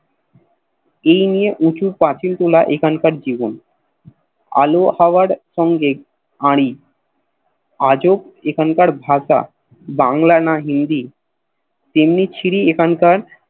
এই নিয়ে উচু প্রচিল তোলা এখানকার জীবন আলো হওয়ার সঙ্গে আড়ি আজব এখানকার ভাষা বাংলা না হিন্দি তেমনি ছিরি এখানকার